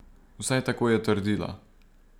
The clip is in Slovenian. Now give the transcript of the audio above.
Vsaj tako je trdila.